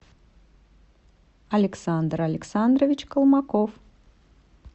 александр александрович колмаков